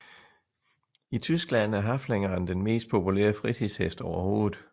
I Tyskland er Haflingeren den mest populære fritidshest overhovedet